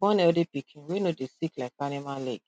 born healthy pikin wey no dey sick like animal leg